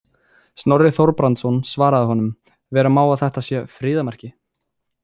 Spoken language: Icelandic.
Snorri Þorbrandsson svaraði honum: Vera má að þetta sé friðarmerki.